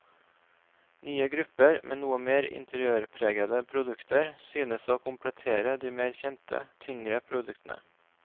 Nye grupper med noe mer interiørpregete produkter synes å komplettere de mer kjente tyngre produktene.